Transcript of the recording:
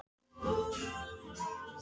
Hinn fallni var meðvitundarlítill og þagði.